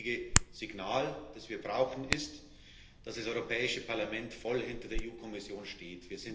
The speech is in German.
Das heutige Signal, das wir brauchen, ist, dass das Europäische Parlament voll hinter der EU Kommission steht.